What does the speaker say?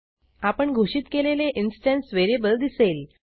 आपण घोषित केलेले इन्स्टन्स व्हेरिएबल दिसेल